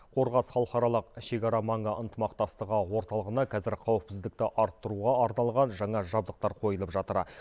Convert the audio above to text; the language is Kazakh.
қорғас халықаралық шекара маңы ынтымақтастығы орталығына қазір қауіпсіздікті арттыруға арналған жаңа жабдықтар қойылып жатыр